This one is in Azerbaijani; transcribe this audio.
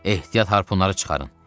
Ehtiyat harpunları çıxarın.